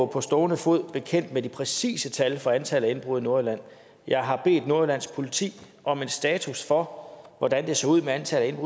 på stående fod bekendt med de præcise tal for antallet af indbrud i nordjylland jeg har bedt nordjyllands politi om en status for hvordan det ser ud med antallet af